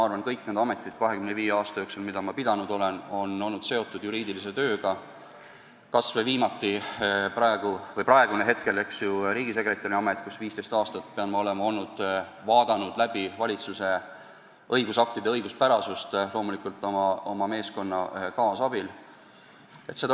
Kõik need ametid, mida ma 25 aasta jooksul pidanud olen, on olnud seotud juriidilise tööga, kas või praegune riigisekretäri amet, kus ma olen 15 aastat kontrollinud valitsuse õigusaktide õiguspärasust, loomulikult oma meeskonna kaasabil.